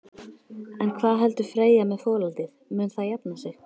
En hvað heldur Freyja með folaldið, mun það jafna sig?